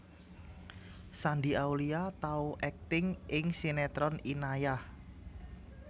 Shandy Aulia tau akting ing sinetron Inayah